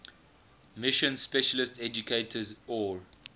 mission specialist educators or